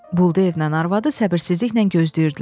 Buldeyevlə arvadı səbirsizliklə gözləyirdilər.